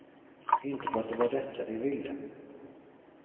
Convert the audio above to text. Inte för att det var detta de ville.